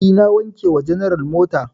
E, na wanke wa general mota.